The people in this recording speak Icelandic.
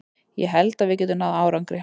Ég held að við getum náð árangri.